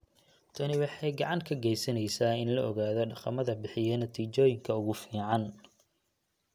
Tani waxay gacan ka geysaneysaa in la ogaado dhaqamada bixiya natiijooyinka ugu fiican.